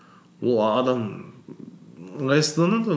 ол адам ыңғайсызданады ғой